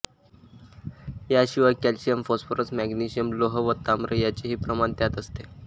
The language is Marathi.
या शिवाय कॅल्शियम फॉस्परस मॅग्नेशियम लोह व ताम्र याचेही प्रमाण त्यात असते